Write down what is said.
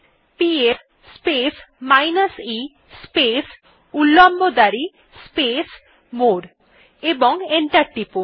PS space minus e space উল্লম্ব দাঁড়ি space more এবং এন্টার টিপুন